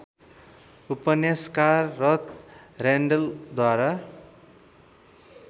उपन्यासकार रथ रेन्डेलद्वारा